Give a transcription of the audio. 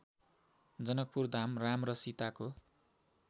जनकपुरधाम राम र सीताको